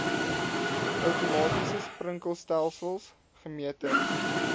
outomatiese sprinkelstelsels gemeter